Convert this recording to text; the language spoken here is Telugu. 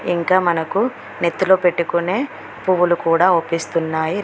ఇంకా మనకు నెత్తిలో పెట్టుకొనే పువ్వులు కూడా అవ్పిస్తున్నాయి.